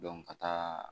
ka taa